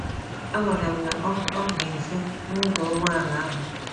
A gwara m na ọ ọ dị nso n’ụzọ ụgbọala ahụ.